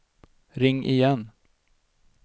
ring igen